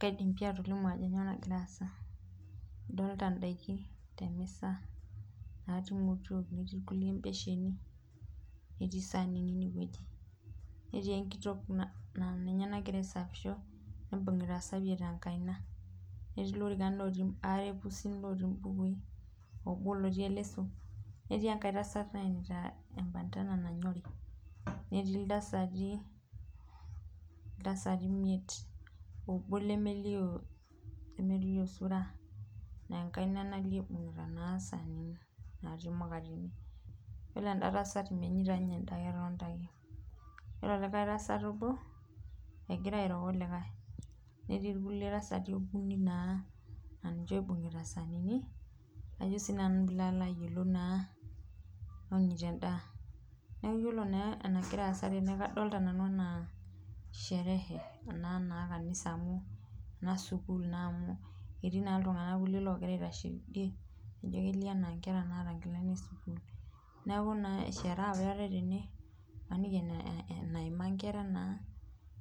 Kaidim pi atolimu ajo kainyoo nagira aasa ,adolita ndaikin natii emisa netii kulie imotiok natii saanini ineweji, netii enkitok naa ninye nagira aisafisho naibungitae esafiet tenkaina netii lorikan aare pusi otii mbukui oobo lotii eleso, netii enkae tasat naenita embantana nanyori netii iltasati imiet ,obo lemelio sura laa enkaina nalio eibungita saanini natii mukateni yiolo enda tasat menyita ninye endaa ketonita ake ,yiolo olikae tasat obo engira airo olikae netii irkulie tasati okuni naa laa ninche oibungita saanini onyita endaa. yiolo naa enagiraa asa tene kadolita nanu enaa sherehe naa ekanisa amu ena enesukul amu ketii naa irkulie tunganak ogira aitashe teidie naijo kelio naa ana nkera naata nkilani esukul ,neeku sherehe apa eetae tena maniki aa enaima nkera naa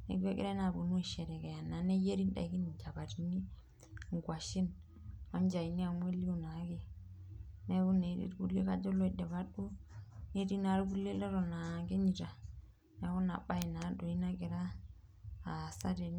neeku engirae naa aponu aisherekea neyieri ndaikin nchapatini ,nkwashen onchaini amu elio naake ,neeku etii naa irkulie leton aa kenyita neeku ina bae naa nagira aasa tene.